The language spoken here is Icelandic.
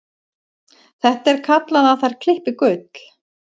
Það er kallað að þær klippi gull.